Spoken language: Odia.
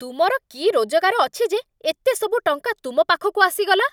ତୁମର କି ରୋଜଗାର ଅଛି ଯେ ଏତେ ସବୁ ଟଙ୍କା ତୁମ ପାଖକୁ ଆସିଗଲା?